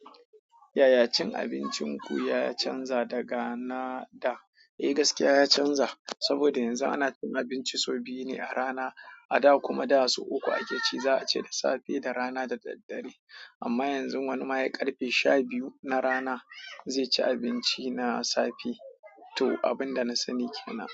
Yaya cin abincin ku ya canza daga na da? Eh gaskiya ya canza, saboda yanzu ana cin abinci sau biyu ne a rana. A da kuma da so uku ake ci, za a ci da safe, da rana da daddare. Amma yanzun wani ma he karfe sha biyu na rana, zai ci abinci na safe. To abin da na sani ke nan.